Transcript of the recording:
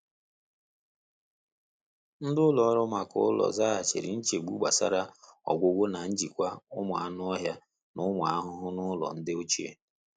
Nde ụlọ ọrụ maka ụlọ zaghachiri nchegbu gbasara ọgwụgwọ na njikwa ụmụ anu ọhịa n'ụmụ ahụhụ n'ụlọ nde ochie.